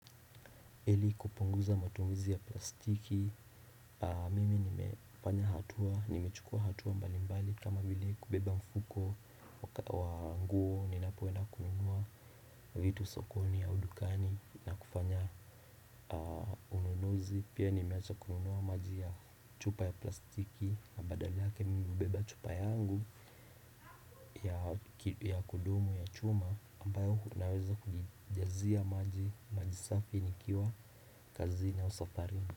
Ili kupunguza matumizi ya plastiki, mimi nimefanya hatua, nimechukua hatua mbalimbali kama vile kubeba mfuko wa nguo ninapoenda kununua vitu sokoni au dukani na kufanya ununuzi. Pia nimeacha kununua maji ya chupa ya plastiki na badala yake mimi hubeba chupa yangu ya kudumu ya chuma ambayo naweza kujijazia maji, maji safi nikiwa kazi na au safari.